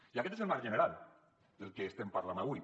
i aquest és el marc general del que estem parlant avui